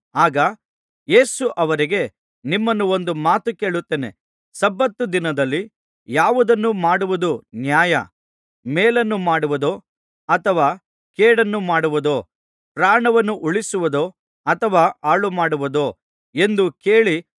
ಆಗ ಯೇಸು ಅವರಿಗೆ ನಿಮ್ಮನ್ನು ಒಂದು ಮಾತು ಕೇಳುತ್ತೇನೆ ಸಬ್ಬತ್ ದಿನದಲ್ಲಿ ಯಾವುದನ್ನು ಮಾಡುವುದು ನ್ಯಾಯ ಮೇಲನ್ನು ಮಾಡುವುದೋ ಅಥವಾ ಕೇಡನ್ನು ಮಾಡುವುದೋ ಪ್ರಾಣವನ್ನು ಉಳಿಸುವುದೋ ಅಥವಾ ಹಾಳುಮಾಡುವುದೋ ಎಂದು ಕೇಳಿ